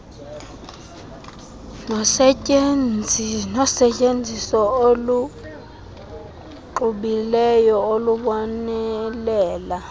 nosetyenziso oluxubileyo olubonelela